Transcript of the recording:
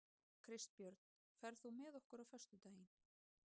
Kristbjörn, ferð þú með okkur á föstudaginn?